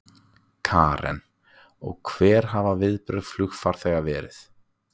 Karen: Og hver hafa viðbrögð flugfarþega verið?